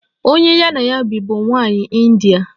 Onye ya na ya bi bụ nwanyị India.